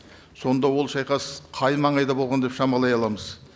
сонда ол шайқас қай маңайда болған деп шамалай аламыз